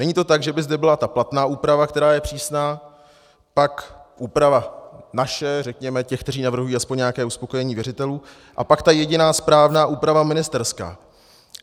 Není to tak, že by zde byla ta platná úprava, která je přísná, tak úprava naše, řekněme těch, kteří navrhují aspoň nějaké uspokojení věřitelů, a pak ta jediná správná úprava ministerská.